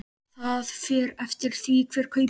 Það fer eftir því hver kaupir.